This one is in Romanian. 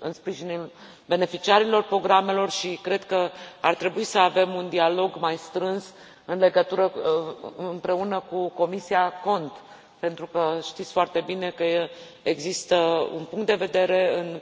în sprijinul beneficiarilor programelor și cred că ar trebui să avem un dialog mai strâns împreună cu Comisia CONT, pentru că știți foarte bine că există un punct de vedere în